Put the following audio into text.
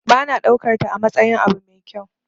Ba na daukarta amatsayin abu mai kyau.